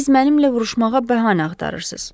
Siz mənimlə vuruşmağa bəhanə axtarırsız.